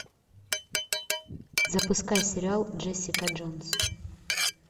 запускай сериал джессика джонс